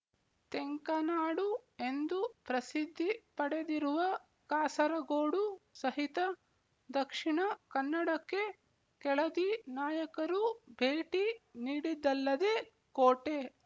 ತೆಂಕನಾಡು ಎಂದು ಪ್ರಸಿದ್ದಿ ಪಡೆದಿರುವ ಕಾಸರಗೋಡು ಸಹಿತ ದಕ್ಷಿಣ ಕನ್ನಡಕ್ಕೆ ಕೆಳದಿ ನಾಯಕರು ಭೇಟಿ ನೀಡಿದ್ದಲ್ಲದೆ ಕೋಟೆ